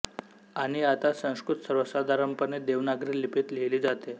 आणि आता संस्कृत सर्वसाधारणपणे देवनागरी लिपीत लिहिली जाते